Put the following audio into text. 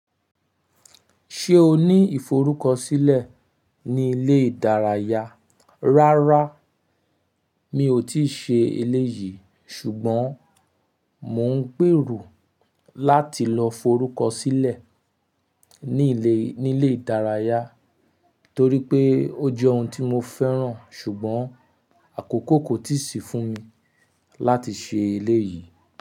Ṣé o ní ìforúkọsílẹ̀ ní ilé ìdárayá? Rárá, mi ò tíì ṣe eléyìí ṣùgbọ́n mò ń gbèrò láti lọ forúkọsílẹ̀. Ní ilé, ní ilé ìdárayá torí pé ó jẹ́ ohun tí mo fẹ́ràn ṣùgbọ́n àkókò kò tíì sí fún mi láti ṣe eléyìí.